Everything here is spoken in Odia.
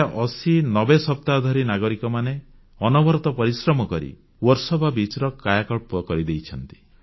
ପ୍ରାୟ 8090 ସପ୍ତାହ ଧରି ନାଗରିକମାନେ ଅନବରତ ପରିଶ୍ରମ କରି ଏହା ବର୍ସୋବା ବେଳାଭୂମିର କାୟାକଳ୍ପ କରିଦେଇଛନ୍ତି